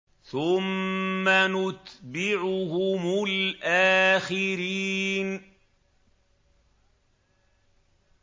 ثُمَّ نُتْبِعُهُمُ الْآخِرِينَ